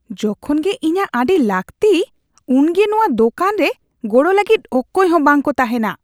ᱡᱚᱠᱷᱚᱱ ᱜᱮ ᱤᱧᱟᱹᱜ ᱟᱹᱰᱤ ᱞᱟᱹᱠᱛᱤ ᱩᱱᱜᱮ ᱱᱚᱶᱟ ᱫᱳᱠᱟᱱ ᱨᱮ ᱜᱚᱲᱚ ᱞᱟᱹᱜᱤᱫ ᱚᱠᱚᱭ ᱦᱚᱸ ᱵᱟᱝᱠᱚ ᱛᱟᱦᱮᱱᱟ ᱾